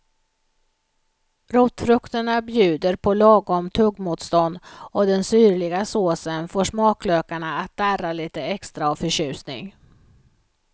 Rotfrukterna bjuder på lagom tuggmotstånd och den syrliga såsen får smaklökarna att darra lite extra av förtjusning.